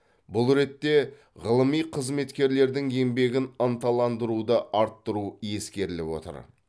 бұл ретте ғылыми қызметкерлердің еңбегін ынталандыруды арттыру ескеріліп отыр